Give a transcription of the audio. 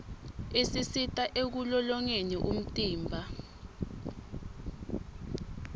isisita ekulolongeni umtimba